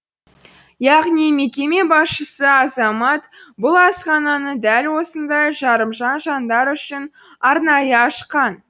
яғни мекеме басшысы азамат бұл асхананы дәл осындай жарымжан жандар үшін арнайы ашқан